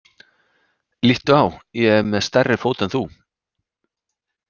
Líttu á, ég er með stærri fót en þú.